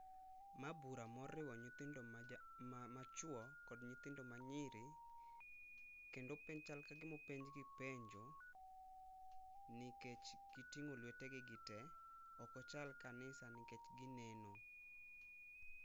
Ma bura ma oriwo nyithindo ma chuo gi kod nyithindo ma nyiri kendo piny chal ka gima openj gi penjo ni kech gi tingo lwete gi te ok ochal kanisa nikech gi neno